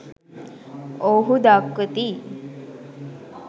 ඔවුහු දක්වති